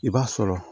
I b'a sɔrɔ